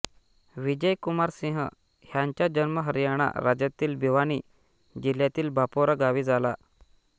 विजय कुमार सिंह ह्यांचा जन्म हरियाणा राज्यातील भिवानी जिल्ह्यातील बापोरा गावी झाला